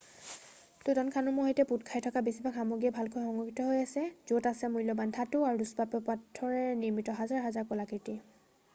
টুতানখামুনৰ সৈতে পোত খাই থকা বেছিভাগ সমগ্ৰীয়ে ভালকৈ সংৰক্ষিত হৈ আছে য'ত আছে মূল্যবান ধাতু আৰু দুষ্প্ৰাপ্য পাথৰেৰে নিৰ্মিত হাজাৰ হাজাৰ কলাকৃতি